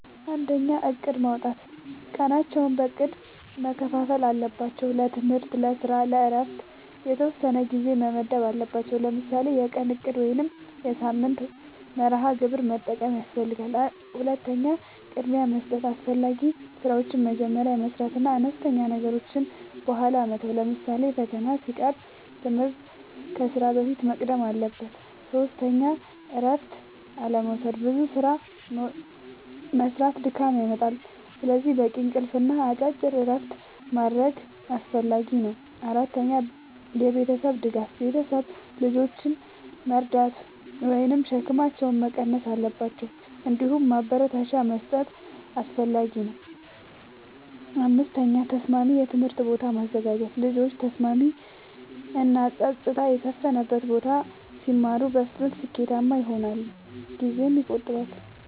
፩. እቅድ፦ ቀናቸውን በእቅድ መከፋፈል አለባቸው። ለትምህርት፣ ለስራ እና ለእረፍት የተወሰነ ጊዜ መመደብ አለባቸዉ። ለምሳሌ የቀን እቅድ ወይም የሳምንት መርሃ ግብር መጠቀም ያስፈልጋል። ፪. ቅድሚያ መስጠት፦ አስፈላጊ ስራዎችን መጀመሪያ መስራት እና አነስተኛ ነገሮችን በኋላ መተው። ለምሳሌ ፈተና ሲቀርብ ትምህርት ከስራ በፊት መቅደም አለበት። ፫. እረፍት አለመዉሰድና ብዙ ስራ መስራት ድካም ያመጣል። ስለዚህ በቂ እንቅልፍ እና አጭር እረፍቶች ማድረግ አስፈላጊ ነው። ፬. የቤተሰብ ድጋፍ፦ ቤተሰብ ልጆችን መርዳት ወይም ሸክማቸውን መቀነስ አለባቸው። እንዲሁም ማበረታቻ መስጠት አስፈላጊ ነው። ፭. ተስማሚ የትምህርት ቦታ ማዘጋጀት፦ ልጆች በተስማሚ እና ጸጥታ በሰፈነበት ቦታ ሲማሩ በፍጥነት ስኬታማ ይሆናሉ ጊዜም ይቆጥባሉ።